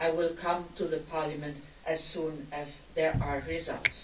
I will come back to Parliament as soon as there are results.